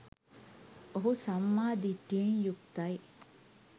ඔහු සම්මා දිට්ඨියෙන් යුක්තයි